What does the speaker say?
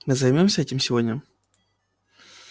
мы займёмся этим сегодня